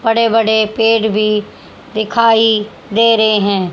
बड़े बड़े पेड़ भी दिखाई दे रहे हैं।